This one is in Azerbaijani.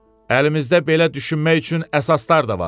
Əlimizdə belə düşünmək üçün əsaslar da var.